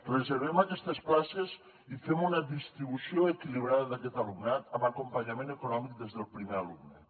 reservem aquestes places i fem una distribució equilibrada d’aquest alumnat amb acompanyament econòmic des del primer alumne